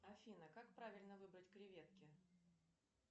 афина как правильно выбрать креветки